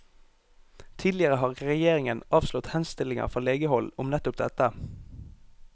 Tidligere har regjeringen avslått henstillinger fra legehold om nettopp dette.